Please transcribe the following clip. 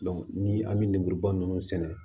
ni an bɛ lemuruba ninnu sɛnɛ